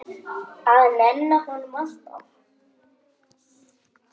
Að nenna honum, alltaf.